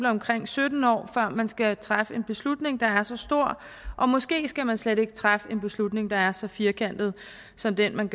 omkring sytten år før man skal træffe en beslutning der er så stor og måske skal man slet ikke træffe en beslutning der er så firkantet som den man